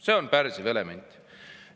See on pärssiv element.